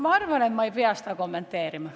Ma arvan, et ma ei pea seda kommenteerima.